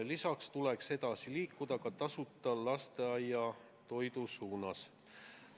Lisaks tuleks edasi liikuda ka tasuta lasteaiatoidu suunas.